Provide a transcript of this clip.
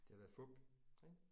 Det har været fup ik?